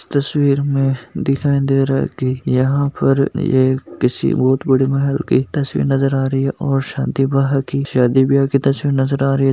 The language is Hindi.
तस्वीर में दिखाई दे रहा है कि यहाँ पर किसी एक बहुत बड़े महल एक तस्वीर नजर आ रही है और शादी ब्याह की शादी ब्याह की तस्वीर नजर आ रही है।